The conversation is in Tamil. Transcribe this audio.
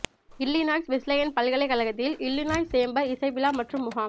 இல்லினாய்ஸ் வெஸ்லேயன் பல்கலைக்கழகத்தில் இல்லினாய்ஸ் சேம்பர் இசை விழா மற்றும் முகாம்